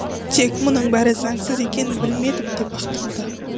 тек мұның бәрі заңсыз екенін білмедім деп ақталды